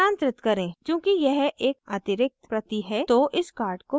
चूँकि यह एक अतिरिक्त प्रति हैं तो इस card को मिटायें